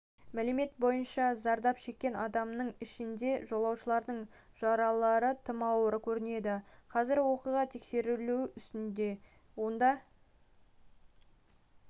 мәлімет бойынша зардап шеккен адамның ішінде жолаушының жаралары тым ауыр көрінеді қазір оқиға тексерілу үстінде онда